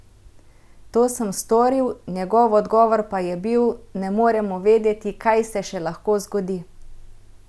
To sem storil, njegov odgovor pa je bil: "'Ne moremo vedeti, kaj se še lahko zgodi.